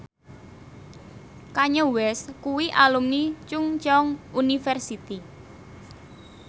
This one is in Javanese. Kanye West kuwi alumni Chungceong University